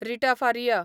Rita Faria